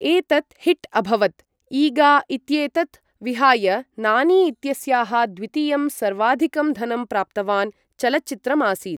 एतत् हिट् अभवत्, ईगा इत्येतत् विहाय नानी इत्यस्याः द्वितीयं सर्वाधिकं धनं प्राप्तवान् चलच्चित्रम् आसीत् ।